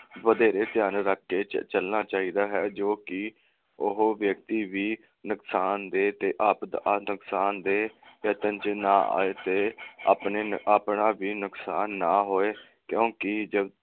ਵਧੇਰੇ ਧਿਆਨ ਰੱਖ ਕੇ ਚਲਣਾ ਚਾਹੀਦਾ ਹੈ ਜੋ ਕਿ ਉਹ ਵਿਅਕਤੀ ਵੀ ਨੁਕਸਾਨਦੇਹ ਤੇ ਨੁਕਸਾਨਦੇਹ ਯਤਨ ਵਿਚ ਨਾ ਆਏ ਤੇ ਆਪਣੇ ਆਪਣਾ ਵੀ ਨੁਕਸਾਨ ਨਾ ਹੋਏ ਕਿਉਕਿ